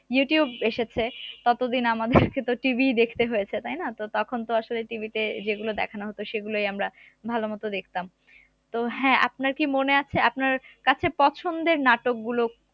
YouTube এসেছে ততদিন আমাদেরকে তো TV ই দেখতে হয়েছে তাইনা তো তখন তো আসলে TV তে যেগুলো দেখানো হতো সেগুলোই আমরা ভালোমতো দেখতাম তো হ্যাঁ আপনার কি মনে আছে আপনার কাছে পছন্দের নাটক গুলো